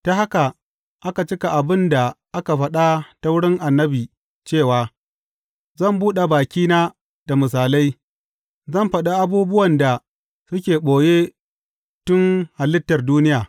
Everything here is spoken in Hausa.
Ta haka aka cika abin da aka faɗa ta wurin annabi cewa, Zan buɗe bakina da misalai, zan faɗi abubuwan da suke ɓoye tun halittar duniya.